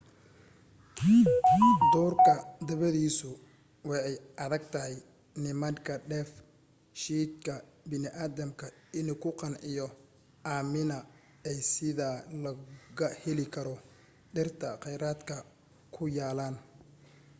duurka dabadiisu waa ay adag tahay nimandka dheef shiidka bini aadamka inuu ku qanciyo amina aysidha laga heli karo dhirta qeyradka ku yalaan